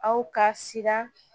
Aw ka siran